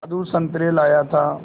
मधु संतरे लाया था